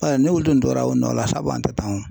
ni wulu tun tora o nɔ la sabu an tɛ tan o.